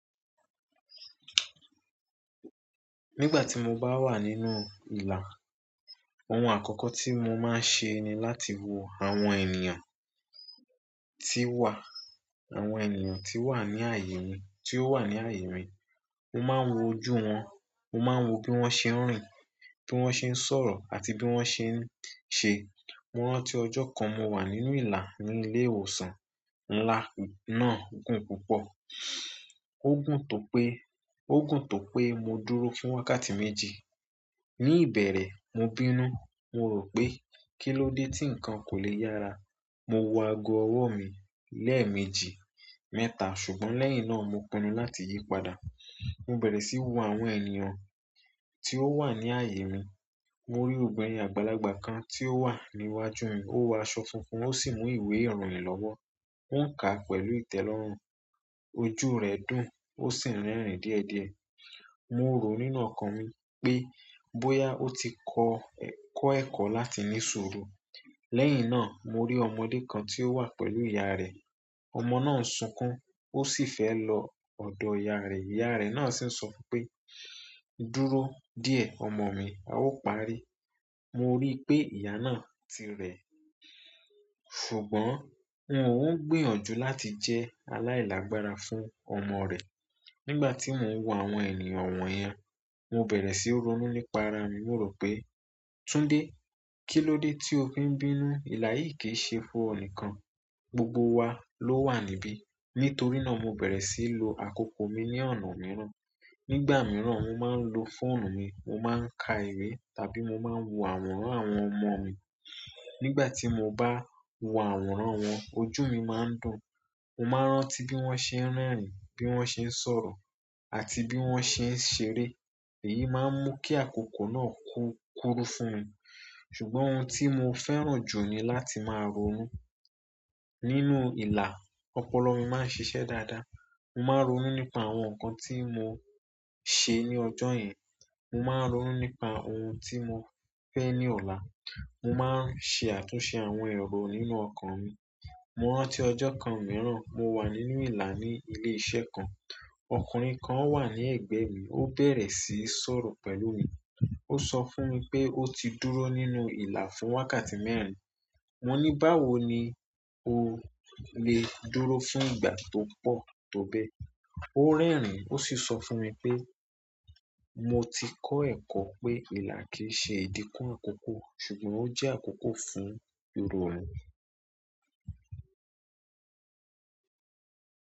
Nígbà tí mo bá wà nínú ìlà, ohun àkọ́kọ́ tí mo máa ń ṣe ni láti wo àwọn ènìyàn tí wà, àwọn ènìyàn tí wà ní ààyè mi, tí ó wà ní ààyè mi. Mo máa ń wo ojú wọn, mo máa ń wo bí wọ́n ṣe ń rìn, bí wọ́n ṣe ń sọ̀rọ̀ àti bí wọ́n ṣe ń ṣe. Mo rántí ọjọ́ kan mo wà nínú ìlà ní ilé ìwòsàn ńlá kan náà gùn púpọ̀. Ó gùn tó pé, ó gùn tó pé mo dúró fún wákàtí méjì. Ni ìbẹ̀rẹ̀, mo bínú. Mo rò pé kí ló dé tí nǹkan kò le yára. Mo wo ago ọwọ mi lemeeji mẹ́ta ṣùgbọ́n lẹ́yìn na mo pinu láti yi padà. Mo bẹ̀rẹ̀ síí wo àwọn ènìyàn tí ó wà ní ààyè mi. Mo rí ọ̀gbẹ́ni àgbàlagbà kan tí ó wà níwájú mi. Ó wọ aṣọ funfun ó sì mú ìwé ìròyìn lọ́wọ́. Ó ń kà á pẹ̀lú ìtẹ́lọ́rùn. Ojú rẹ̀ dùn ó sì ń rẹ́rìn díẹ̀díẹ̀. Mo rò nínú ọkàn mi pé bóyá ó ti kọ́, kọ́ ẹ̀kọ́ láti ní ṣuru. Lẹ́yìn náà, mo rí ọmọdé kan tí ó wà pẹ̀lú ìyá rẹ̀. Ọmọ náà ń sunkún ó sì fẹ́ lọ ọ̀dọ̀ ìyá rẹ̀. Ìyá rẹ̀ náà sì ń sọ fún un pé "Dúró díẹ̀ ọmọ mi." A o parí. Mo rí pé ìyá náà ti rẹ̀, ṣùgbọ́n òun ń gbìyànjú láti jẹ́ aláìlágbára fún ọmọ rẹ̀. Nígbà tí mò ń wo àwọn ènìyàn wọ̀nyẹn, mo bẹ̀rẹ̀ síí ronú nípa ara mi. Mo rò pé "Túndé, kí ló dé tí o fi ń bínú? Ìlà yìí kì í ṣe fún ọ nìkan. Gbogbo wa ló wà níbí." Nítorí náà mo bẹ̀rẹ̀ síí lo àkókò mi ní ọ̀nà mìíràn. Nígbà mìíràn, mo máa ń lo fóònù mi, mo máa ń ka ìwé tàbí mo máa ń wo àwòrán àwọn ọmọ mi. Nígbà tí mo bá wo àwòrán wọn, ojú mi máa ń dùn. Mo máa ń rántí bí wọ́n ṣe ń rìn, bí wọ́n ṣe ń sọ̀rọ̀ àti bí wọ́n ṣe ń ṣeré. Èyí máa ń mú kí àkókò náà kú, kúrú fún mi. Ṣùgbọ́n òun ti mo fẹ́ràn jù ni láti maa ronu. Nínú ìlà, ọpọlọ mi máa ń ṣiṣẹ́ dáadáa. Mo máa ń ronú nípa àwọn nǹkan tí mo ṣe ní ọjọ́ yen. Mo máa ń ronú nípa ohun tí mo fẹ́ ní ọ̀la. Mo máa ń ṣe àtúnṣe àwọn èrò nínú ọkàn mi. Mo rántí ọjọ́ kan mìíràn, mo wà nínú ìlà ní ilé iṣẹ́ kan. Ọkùnrin kan wà ní ẹ̀gbẹ́ mi. Ó bẹ̀rẹ̀ síí sọ̀rọ̀ pẹ̀lú mi. Ó sọ fún mi pé ó ti dúró nínú ìlà fún wákàtí mẹ́rin. Mo ní báwo ni o lè dúró fún ìgbà tó pọ̀ tó bẹ́ẹ̀? Ó rẹ́rìn ó sì sọ fún mi pé "Mo ti kọ́ ẹ̀kọ́ pé ìlà kì í ṣe ìdíkún àkókò ṣùgbọ́n ó jẹ́ àkókò fún ìronù."